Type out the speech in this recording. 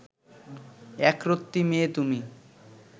একরত্তি মেয়ে তুমি